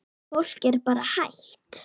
Fólk er bara hrætt.